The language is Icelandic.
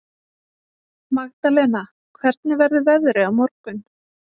Magdalena, hvernig verður veðrið á morgun?